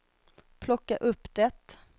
plocka upp det